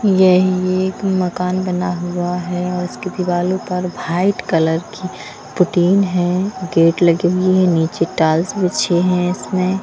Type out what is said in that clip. ये ये एक मकान बना हुआ है और इसके दीवालों पर भाइट कलर की पुटीन है गेट लगे हुई है नीचे टाल्स बछे हैं इसमें--